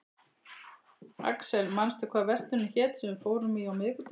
Axel, manstu hvað verslunin hét sem við fórum í á miðvikudaginn?